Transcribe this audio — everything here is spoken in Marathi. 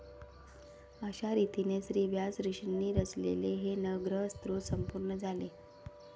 अशारितीने श्रीव्यास ऋषिंनी रचलेले हे नवग्रह स्तोत्र संपूर्ण झाले.